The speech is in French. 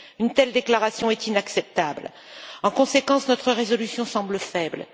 Une telle déclaration est inacceptable. En conséquence, notre résolution semble faible.